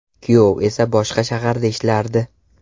Kuyov esa boshqa shaharda ishlardi.